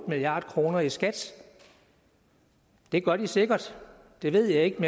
milliard kroner i skat det gør de sikkert det ved jeg ikke